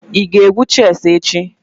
Ị ga-egwu chess echi?